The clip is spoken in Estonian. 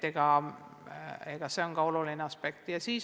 Ka see on oluline aspekt.